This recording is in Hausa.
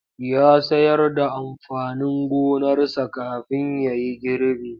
Ya sayar da amfanin gonarsa kafin ya yi gribi.